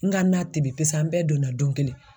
N ka na tele bi an bɛɛ donna don kelen.